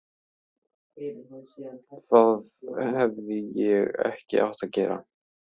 Það hefði ég ekki átt að gera.